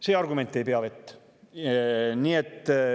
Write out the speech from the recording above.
See argument ei pea vett.